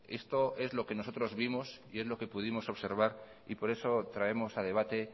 esto es lo que nosotros vimos y es lo que pudimos observar por eso traemos a debate